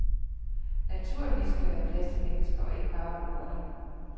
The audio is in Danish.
Naturligvis skal der være plads til mennesker og ikke bare robotter.